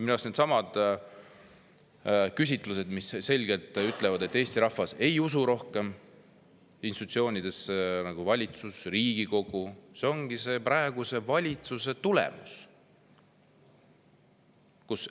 Eesti rahvas enam institutsioone, nagu valitsus ja Riigikogu, ongi praeguse valitsuse tulemus.